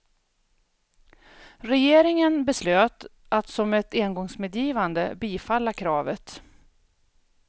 Regeringen beslöt att som ett engångsmedgivande bifalla kravet.